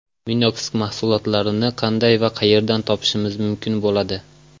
Minox mahsulotlarini qanday va qayerdan topishimiz mumkin bo‘ladi?